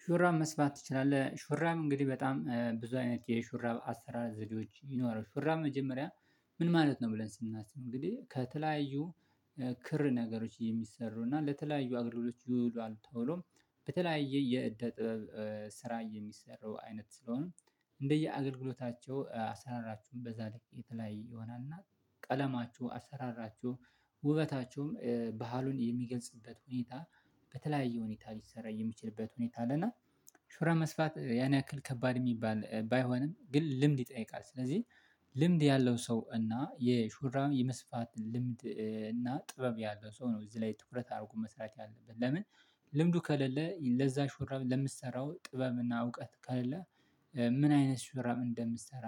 ሹ ተብራብ መስፋት ትችላለህ? ሹራብ እንግዲህ በጣም ብዙ አይነት የሹራብ አሰራር ዘዴዎች ይኖራሉ። ሹራብ መጀመሪያ ምን ማለት ነው ብለን ስናስብ እንግዲህ ከተለያዩ ክር ነገሮች የሚሰሩና ለተለያዩ አገልግሎቶች ይውላል። ተብሎ በተለያየ የእደ ጥበብ ስራ የሚሰራው አይነት ስለሆነ እንደየ አገልግሎታቸው አሰራራቸውም በዛ ልክ የተለያየ ይሆናል። እና ቀለማቸው አሰራራቸው ውበታቸውም ባህሉን የሚገልጽበት ሁኔታ በተለያየ ሁኔታ ሊሰራ የሚችልበት ሁኔታ አለና። ሹራብ መስፋት ያን ያክል ከባድ የሚባል ባይሆንም ግን ልምድ ይጠይቃል። ስለዚህ ልምድ ያለው ሰው እና የሹራብ የመስፋት ልምድ እና ጥበብ ያለው ሰው ነው እዚህ ላይ ትኩረት አድርጎ መስራት ያለበት ለምን? ልምዱ ከሌለ ለዛ ሹራብ ለምትሰራው ጥበብና እውቀት ከሌለ ምን አይነት ሹራብ እንደምትሰራ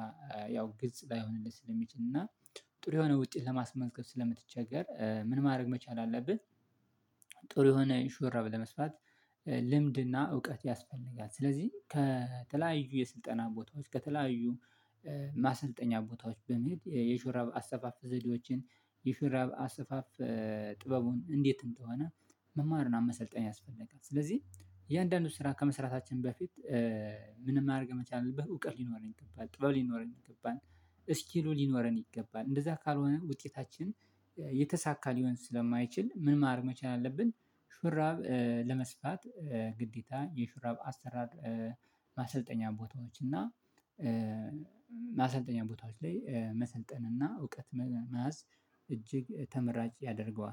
ያው ግልጽ ላይሆንልህ ስለሚችል እና ጥሩ የሆነ ውጤት ለማስመዝገብ ስለምትቸገር ምን ማድረግ መቻል አለብህ። ጥሩ የሆነ ሹራብ ለመስፋት ልምድና እውቀት ያስፈልጋል። ስለዚህ ከተለያዩ የስልጠና ቦታዎች ከተለያዩ ማሰልጠኛ ቦታዎች በመሄድ የሹራብ አሰፋፍ ዘዴዎችን የሹራብ አሰፋፍ ጥበቡን እንዴት እንደሆነ መማርን መሰልጠን ያስፈልጋል። ስለዚህ እያንዳንዱን ስራ ከመስራታችን በፊት ምንም ማረግ ባይቻል በአወቀት ይገባል ጥበብ ሊኖረን ይገባል። ስኪሉ ሊኖረን ይገባል እንደዛ ካልሆነ ውጤታችን የተሳካ ሊሆን ስለማይችል መማር መቻል አለብን። ሹራብ ለመስፋት ግዴታ የሹራብ አሰራር ማሰልጠኛ ቦታዎች እና ማሰልጠኛ ቦታዎች ላይ መሰልጠን እና እውቀት መያዝ እጅግ ተመራጭ ያደርገዋል